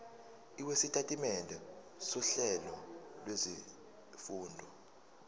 lwesitatimende sohlelo lwezifundo